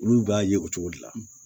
Olu b'a ye o cogo de la